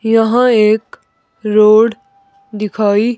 यहां एक रोड दिखाई--